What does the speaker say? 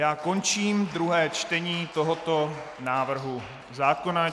Já končím druhé čtení tohoto návrhu zákona.